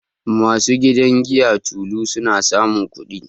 Ma su gidan giyar Tolu, su na samun kudi